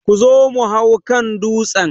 Zo mu hau kan dutsen!